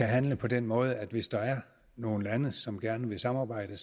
handle på den måde at hvis der er nogle lande som gerne vil samarbejde